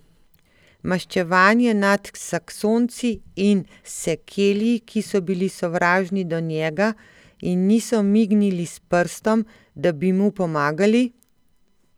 Maščevanje nad Saksonci in Sekelji, ki so bili sovražni do njega in niso mignili s prstom, da bi mu pomagali?